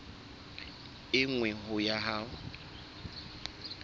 e nngwe ho ya ho